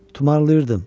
Tumarayırdım.